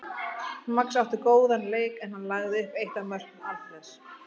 Max átti líka góðan leik en hann lagði upp eitt af mörkum Alfreðs.